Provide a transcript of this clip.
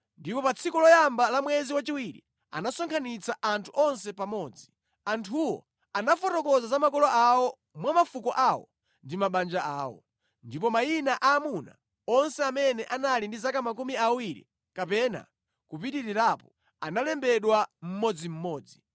ndipo pa tsiku loyamba la mwezi wachiwiri, anasonkhanitsa anthu onse pamodzi. Anthuwo anafotokoza za makolo awo mwa mafuko awo ndi mabanja awo. Ndipo mayina a amuna onse amene anali ndi zaka makumi awiri kapena kupitirirapo analembedwa, mmodzimmodzi